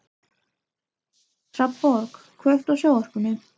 Hrafnborg, kveiktu á sjónvarpinu.